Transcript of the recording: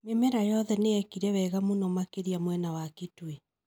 Mĩmera yothe nĩyekire wega mũno makĩria mwena wa Kitui